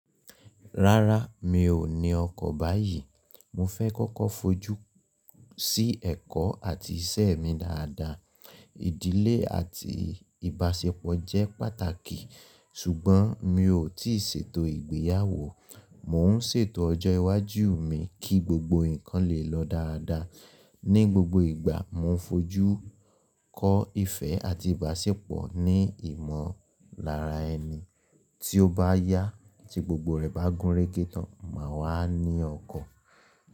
Rárá, mi ò ní ọkọ̀ báyìí. Mo fẹ́ kọ́kọ́ fojú sí ẹ̀kọ́ àti iṣẹ́ mi dáadáa. Ìdílé àti ìbáṣepọ̀ jẹ́ pàtàkì, ṣùgbọ́n mi ò tíì ṣètò ìgbéyàwó. Mò ń ṣètò ọjọ́ iwájú mi kí gbogbo nǹkan lè lọ dáadáa. Ni gbogbo ìgbà, mo ń fojú kó ìfẹ́ àti ìbáṣepọ̀ ní ìmọ̀lára ẹni. Tí ó bá yá, tí gbogbo rẹ̀ bá gúnrégé tàn, màá wá ní ọkọ̀.